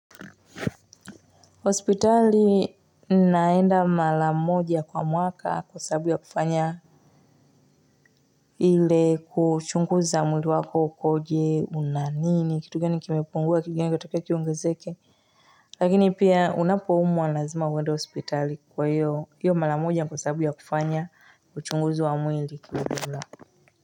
Hospitali naenda mara moja kwa mwaka kwa sababu ya kufanya ile kuchunguza mwili wako ukoje? Unanini? Kitu gani kimepungua? Kitu gani kinatakiwa kiongezeke Lakini pia unapo umwa lazima uwende hospitali kwa hiyo iyo mara moja ni kwa sababu ya kufanya uchunguzi wa mwili kiujumla.